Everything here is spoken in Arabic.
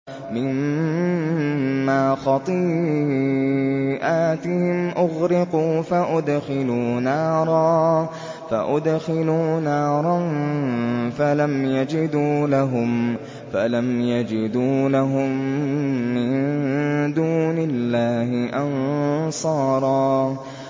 مِّمَّا خَطِيئَاتِهِمْ أُغْرِقُوا فَأُدْخِلُوا نَارًا فَلَمْ يَجِدُوا لَهُم مِّن دُونِ اللَّهِ أَنصَارًا